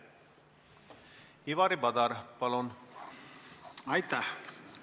Ivari Padar, palun!